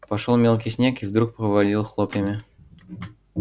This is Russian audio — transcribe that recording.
пошёл мелкий снег и вдруг повалил хлопьями